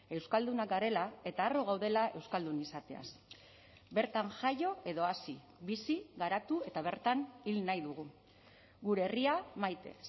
euskaldunak garela eta harro gaudela euskaldun izateaz bertan jaio edo hazi bizi garatu eta bertan hil nahi dugu gure herria maite